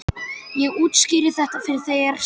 Ég útskýri þetta fyrir þér seinna.